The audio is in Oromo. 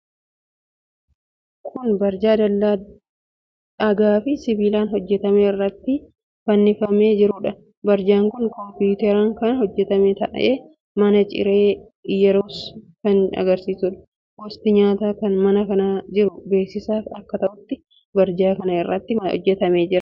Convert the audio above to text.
Kun barjaa dallaa dhagaafi sibiilaan hojjetame irratti fannifamee jiruudha. Barjaan kun kompiwuuteraan kan hojjetame ta'ee, "Mana Ciree Iyyeruus" kan agarsiisuudha. Gosti nyaataa mana kana jiru beeksisaaf akka ta'utti barjaa kana irratti hojjetamee jira.